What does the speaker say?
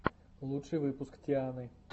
лучший выпуск тианы